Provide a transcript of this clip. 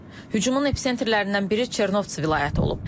Hücumun episentrlərindən biri Çernovtsi vilayəti olub.